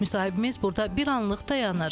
Müsahibimiz burda bir anlıq dayanır.